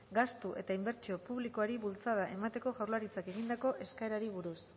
gastu eta inbertsio publikoari bultzada emateko jaurlaritzak egindako eskaerari buruz